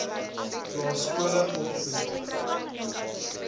plaas skole opvoedk